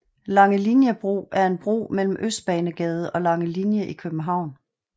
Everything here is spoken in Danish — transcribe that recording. Langeliniebro er en bro mellem Østbanegade og Langelinie i København